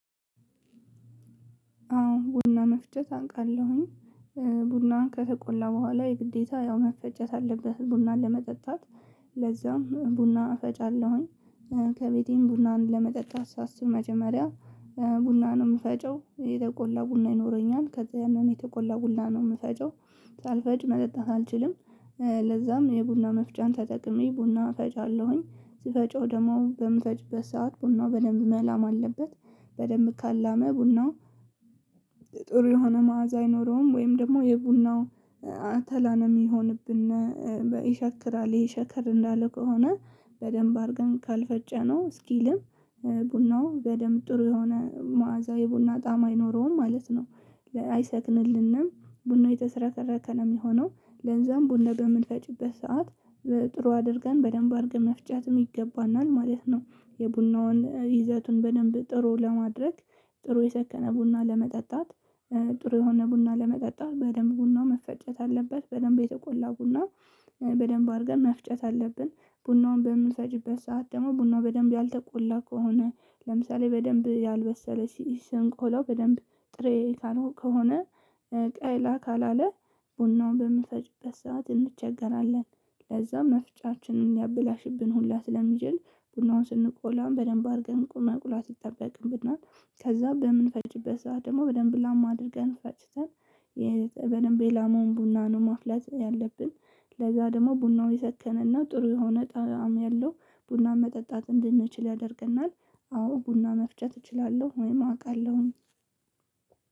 አዎ ቡና መፍጨት አንቃለሁኝ። ቡናን ከተቆላ በኋላ የግዴታ ያው መፈጨት አለበት ቡናን ለመጠጣት ለዛም ቡና እፈጫለሁኝ። ከቤቴም ቡናን ለመጠጣት ሳስብ መጀመሪያ ቡና ነው የምፈጨው የተቆላ ቡና ይኖረኛል ከዛ ያንን የተቆላ ቡና ነው የምፈጨው ሳልፈጭ መጠጣት አልችልም። ለዛም የቡና መፍጫን ተጠቅሜ ቡና ፈጫለሁኝ ስፈጨው ደግሞ በምፈጭበት ሰዓት ቡናው በደንብ መላም አለበት በደንብ ካላመ ቡናው። ጥሩ የሆነ መዓዛ አይኖረውም ወይም ደግሞ የብናው አተላ ነው ሚሆንብን። ይሻክራል እሄ ሻከር እንዳለ ከሆነ በደምብ አርገን ካልፈጨነው እስኪልም ቡናው በደንብ ጥሩ የሆነ መዓዛ የቡና ጣም አይኖረውም ማለት ነው። አይሰክንልንም ቡናው የተዝረከረከ ነው የሚሆነው። ለንዛም ቡና በምንፈጪበት ሰዓት ጥሩ አድርገን በደንብ አድርገን መፍጨትም ይገባናል ማለት ነው። የቡናውን ይዘቱን በደንብ ጥሩ ለማድረግ ጥሩ የሰከነ ቡና ለመጠጣት። ጥሩ የሆነ ቡና ለመጠጣት በደንብ ቡና መፈጨት አለበት በደንብ የተቆላ ቡና በደንብ አድርገን መፍጨት አለብን። ቡናውን በምንሰጪበት ሰዓት ደግሞ ቡናው በደንብ ያልተቆላ ከሆነ ለምሳሌ በደንብ ያልበሰለ ስንቆላው በደንብ ጥሬ ካልሆነ ከሆነ ቀላ ካላለ ቡናውን በምንፈጭበት ሰዓት እንቸገራለን። ከዛ መፍጫችንን ሊያበላሽብን ሁላ ስለሚችል ቡናውን ስንቆላ በደምብ አርገን መቁላት ይጠበቅብናል። ከዛ በምንፈጭበት ሰዓት ደግሞ በደምብ ላም አድርገን ፈጭተን በደንብ የላማውን ቡና ነው ማፍለጥ ያለብን። ለዛ ደግሞ ቡናው የሰከነና ጥሩ የሆነ ጣዕም ያለው ቡና መጠጣት እንድንችል ያደርገናል። አዎ ቡና መፍጨት እችላለሁ ወይም አውቃለሁኝ።